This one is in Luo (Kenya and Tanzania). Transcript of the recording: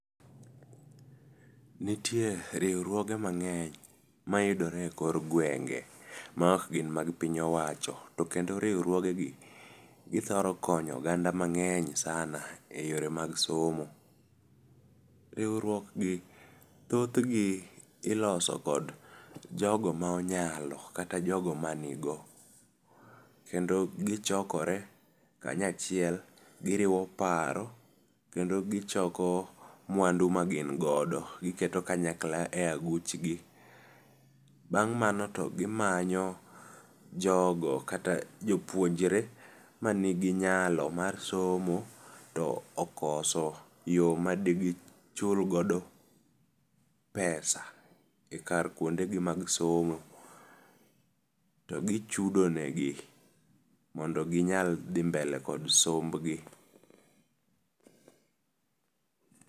Nitue riwruoge ma ngeny ma yudore e kor gwenge ma ok gin ma piny owacho to kendo riwruoge gi thoro konyo oganda ma ngeny sana e yore mag somo riwruok gi thoth gi iloso kod jogo ma onyalo kata jogo ma ni go kendo gi chokore ka nya chiel gi riwo paro kendo gi choko mwandu ma gin godo kendo gi choko kanyakla e aguch gi bang mano gi manyo jogo kata jo puonjre ma nigi nyalo mar somo to okoso yo made gi chul godo pesa e kar kwonde gi mag somo to gi chudo ne gi mondo gi nyal dhi mbele gi somb gi.